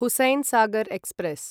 Hussain Sagar express